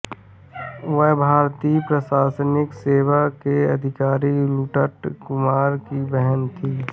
वह भारतीय प्रशासनिक सेवा के अधिकारी तुटक कुमार की बहन थीं